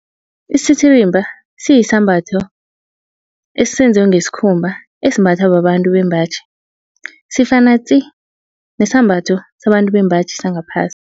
Isititirimba siyisambatho esenzwe ngesikhumba esimbathwa babantu bembaji. Sifana tsi nesambatho sabantu bembaji sangaphasi.